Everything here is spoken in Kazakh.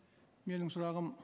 менің сұрағым